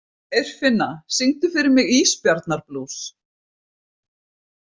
Eirfinna, syngdu fyrir mig „Ísbjarnarblús“.